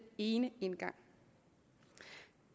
ene indgang